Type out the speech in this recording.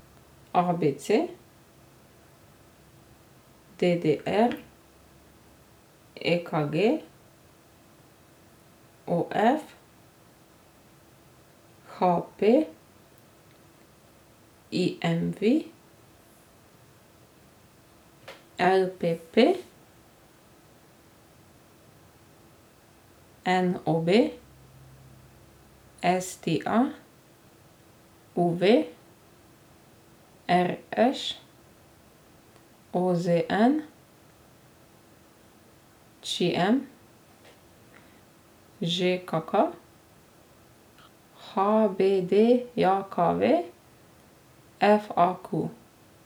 A B C; D D R; E K G; O F; H P; I M V; L P P; N O B; S T A; U V; R Š; O Z N; Č M; Ž K K; H B D J K V; F A Q.